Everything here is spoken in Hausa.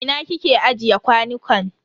A ina kike ajiye kwanukan?